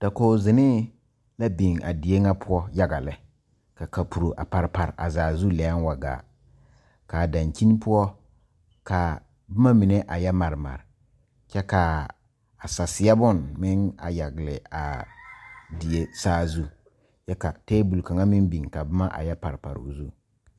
Dakoge zenee la biŋ a die ŋa poɔ yaga lɛ ka kapuro a pare pare a zaa zu lɛɛŋ wa gaa kaa daŋkyini poɔ kaa bomma mine a yɛ mare mare kyɛ kaa a saseɛ bon meŋ a yagle aa die saazu kyɛ ka tabol kaŋa meŋ biŋ ka bomma a yɛ pare pare o zu.